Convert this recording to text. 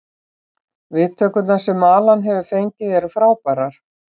Viðtökurnar sem Alan hefur fengið eru frábærar.